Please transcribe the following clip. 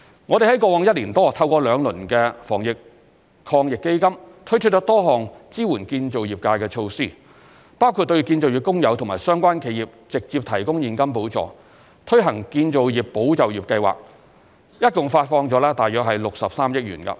我們在過去一年多透過兩輪防疫抗疫基金，推出多項支援建造業界的措施，包括對建造業工友和相關企業直接提供現金補助、推行建造業保就業計劃等，共發放了約63億元。